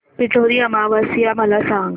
पिठोरी अमावस्या मला सांग